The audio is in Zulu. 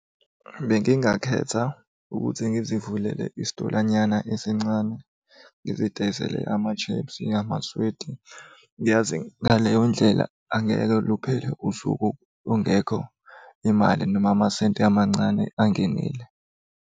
Bengingakhetha ukuthi ngizivulele Isitolanyana esincane ngizidayisele ama-chips, amaswidi. Ngiyazi ngaleyo ndlela angeke luphele usuku ungekho imali noma amasenti amancane angenile.